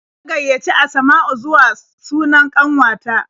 Na gaiyaci Asma'u zuwa sunan ƙanwata.